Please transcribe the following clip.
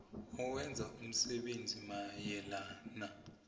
owenza umsebenzi mayelana